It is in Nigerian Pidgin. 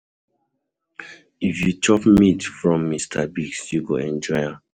If you chop meat pie from Mr Biggs, you go enjoy am.